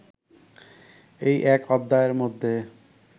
এই এক অধ্যায়ের মধ্যে